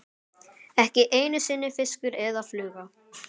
Ekki einu sinni fiskur eða fluga.